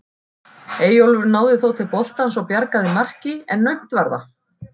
Eyjólfur náði þó til boltans og bjargaði marki en naumt var það.